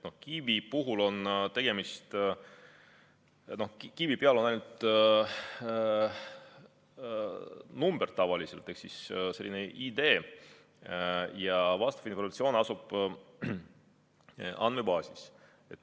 Kiibi peal on tavaliselt ainult number ehk siis selline ID ja see info asub andmebaasis.